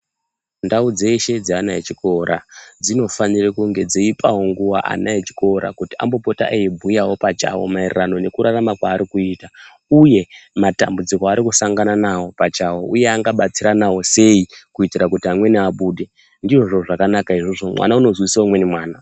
Ndau dzeshe dzeana echikora dzinofanire kunge dzeipawo nguwa ana echikora kuti ambopota eibhuyawo pachawo maererano nekurarama kwari kuita uye matambudziko arrikusangana naywo pachawo uye angabatsiranawo sei kuitire kuti amweni abude ndizvo zvakanaka izvozvo mwana unozwisise umweni mwana.